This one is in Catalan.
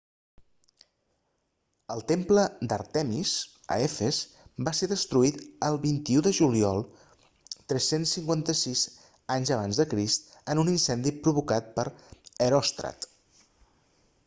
el temple d'àrtemis a efes va ser destruït el 21 de juliol 356 aec en un incendi provocat per heròstrat